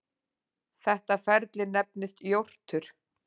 Þetta ferli nefnist jórtur.